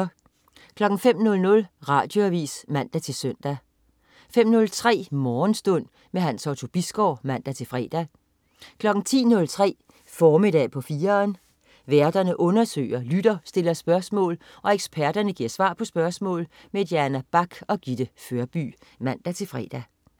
05.00 Radioavis (man-søn) 05.03 Morgenstund. Hans Otto Bisgaard (man-fre) 10.03 Formiddag på 4'eren. Værterne undersøger, lytterne stiller spørgsmål, og eksperterne giver svar på spørgsmål. Diana Bach og Gitte Førby (man-fre)